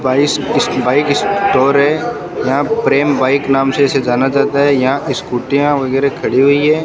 बाइस इसकी bike store है यहां प्रेम बाइक नाम से से जाना जाता है यहां स्कूटीयां वगैरा खड़ी हुई है।